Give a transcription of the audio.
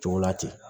Cogo la ten